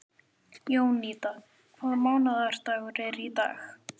Jónída, hvaða mánaðardagur er í dag?